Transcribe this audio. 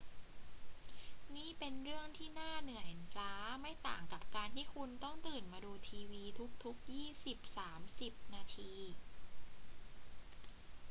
นี่เป็นเรื่องที่น่าเหนื่อยล้าไม่ต่างกับการที่คุณต้องตื่นมาดูทีวีทุก ๆ ยี่สิบสามสิบนาที